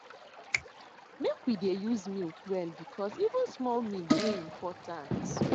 make we dey use milk well because even small milk dey important